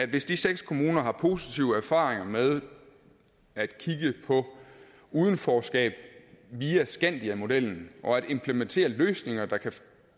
hvis de seks kommuner har positive erfaringer med at kigge på udenforskab via skandiamodellen og at implementere løsninger der kan